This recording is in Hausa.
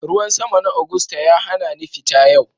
Ruwan sama na Agusta ya hana ni fita yau